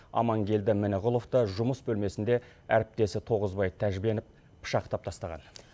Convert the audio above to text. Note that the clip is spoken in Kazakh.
амангелді мініғұловты жұмыс бөлмесінде әріптесі тоғызбай тәжбенов пышақтап тастаған